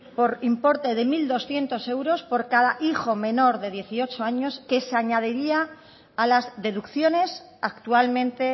por importe de mil doscientos euros por cada hijo menor de dieciocho años que se añadiría a las deducciones actualmente